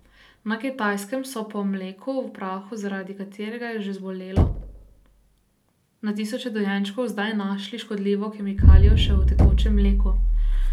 Na Kitajskem so po mleku v prahu, zaradi katerega je že zbolelo na tisoče dojenčkov, zdaj našli škodljivo kemikalijo še v tekočem mleku.